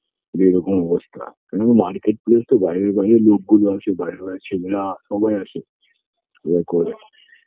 যে এরকম অবস্থা কেননা market place তো বাইরে বাইরের লোকগুলো আসে বাইরে বাইরে ছেলেরা সবাই আসে ওরা করে